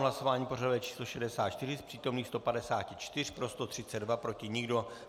V hlasování pořadové číslo 64 z přítomných 154 pro 132, proti nikdo.